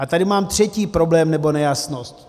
A tady mám třetí problém nebo nejasnost.